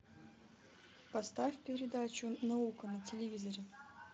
поставь передачу наука на телевизоре